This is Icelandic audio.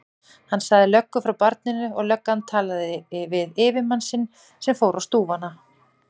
Hann sagði löggu frá barninu og löggan talaði við yfirmann sinn sem fór á stúfana.